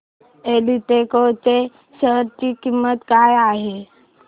एल्डेको च्या शेअर ची किंमत काय आहे